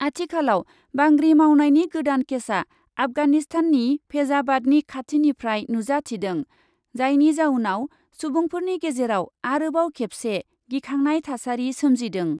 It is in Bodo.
आथिखालाव बांग्रि मावनायनि गोदान केसा आफगानिस्ताननि फेजाबादनि खाथिनिफ्राय नुजाथिदों, जायनि जाउनाव सुबुंफोरनि गेजेराव आरोबाव खेबसे गिखांनाय थासारि सोमजिदों ।